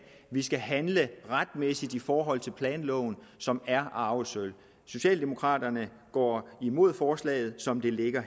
vi skal handle retmæssigt i forhold til planloven som er arvesølvet socialdemokraterne går imod forslaget som det ligger